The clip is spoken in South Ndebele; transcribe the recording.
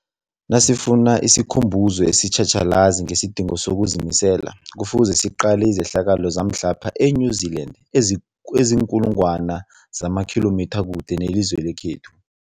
Nasifuna isikhumbuzo esitjhatjhalazi ngesidingo sokuzimisela, Kufuze siqale izehlakalo zamhlapha e-New Zealand eziinkulu ngwana zamakhilomitha kude nelizwe lekhethu.